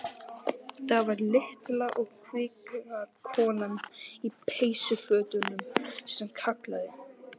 Það var litla og kvika konan í peysufötunum sem kallaði.